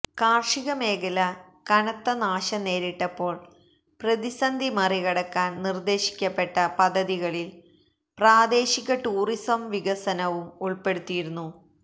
കാര്ഷിക മേഖല കനത്ത നാശം നേരിട്ടപ്പോള് പ്രതിസന്ധി മറികടക്കാന് നിര്ദേശിക്കപ്പെട്ട പദ്ധതികളില് പ്രാദേശിക ടൂറിസം വികസനവും ഉള്പ്പെടുത്തിയിരുന്നു